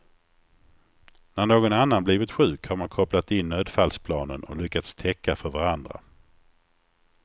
När någon annan blivit sjuk har man kopplat in nödfallsplanen och lyckats täcka för varandra.